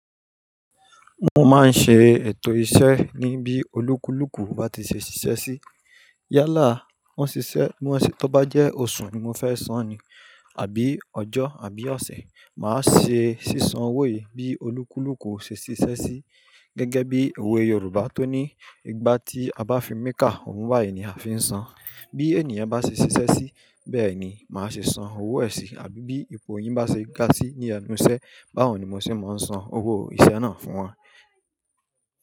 Mo máa ń ṣe ètò iṣẹ́ ní bí olúkúlùkù bá ti ṣe ṣiṣẹ́ sí. Yálà wọ́n ṣiṣẹ́, bi wọ́n se tó bá jẹ́ oṣù ni mo fẹ́ san ni àbí ọjọ́ àbí ọ̀sẹ̀. Màá ṣe sí san owó yii bí olúkúlùkù ṣe ṣiṣẹ́ sí. Gẹ́gẹ́ bí òwe Yorùbá tó ní "Ìgbà tí a bá fi mikà ohùn bàyìí ni a fi ń san" bí ènìyàn bá ṣe ṣiṣẹ́ sí bẹ́ẹ̀ ni màá ṣe san owó ẹ̀ sì. Àbí bí ipò yìn bá ṣe ga sí ní ẹnu iṣẹ́ báhun ni mo se máa ń san owó iṣẹ́ náà fún wọn.